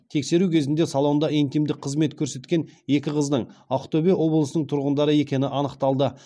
тексеру кезінде салонда интимдік қызмет көрсеткен екі қыздың ақтөбе облысының тұрғындары екені анықталды